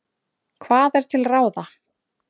Hvað er til ráða?